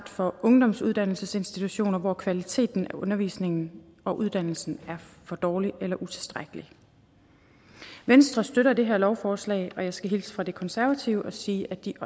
for ungdomsuddannelsesinstitutioner hvor kvaliteten af undervisningen og uddannelsen er for dårlig eller utilstrækkelig venstre støtter det her lovforslag og jeg skal hilse fra de konservative og sige at de